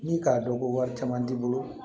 Ni k'a dɔn ko wari caman t'i bolo